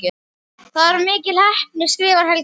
Það var mikil heppni skrifar Helgi.